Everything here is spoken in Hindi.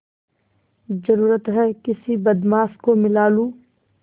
जरुरत हैं किसी बदमाश को मिला लूँ